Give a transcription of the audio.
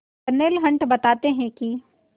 Darnell Hunt बताते हैं कि